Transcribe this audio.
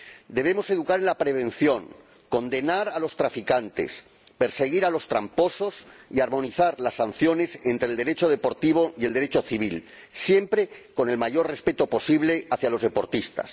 Debemos educar en la prevención, condenar a los traficantes, perseguir a los tramposos y armonizar las sanciones entre el Derecho deportivo y el Derecho civil, siempre con el mayor respeto posible hacia los deportistas.